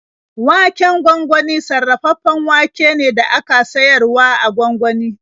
Waken gwangwani sarrafaffen wake ne da aka siyar wa a gwangwani.